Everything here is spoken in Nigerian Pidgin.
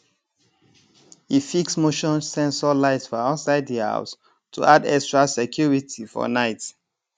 e fix motion sensor light for outside the house to add extra security for night